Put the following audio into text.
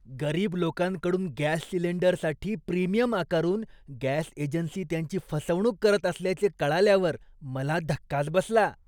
गरीब लोकांकडून गॅस सिलेंडरसाठी प्रीमियम आकारून गॅस एजन्सी त्यांची फसवणूक करत असल्याचे कळल्यावर मला धक्काच बसला.